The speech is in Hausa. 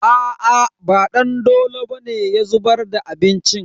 Aa ba Dandolo bane ya zubar da abincin.